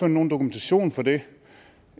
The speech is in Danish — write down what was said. nogen dokumentation for det